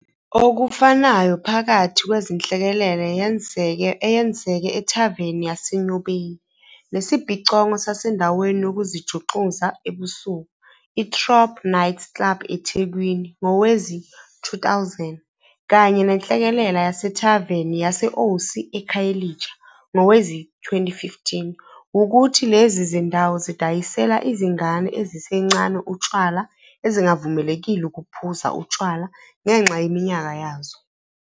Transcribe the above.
Okufanayo phakathi kwenhlekelele eyenzeke ethaveni yaseNyobeni, nesibhicongo sasendaweni yokuzijuxuza ebusuku i-Throb nightclub eThekwini ngowezi-2000, kanye nenhlekelele yasethaveni yase-Osi eKhayelitsha ngowezi-2015, wukuthi lezi zindawo zidayisela izingane ezisencane utshwala ezingavumelekile ukuphuza utshwala ngenxa yeminyaka yazo.